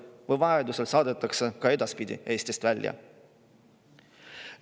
Vajaduse korral saadetakse ka edaspidi Eestist välja.